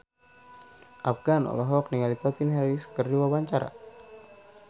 Afgan olohok ningali Calvin Harris keur diwawancara